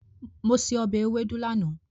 Mo se ọbẹ̀ ewédú lánàá.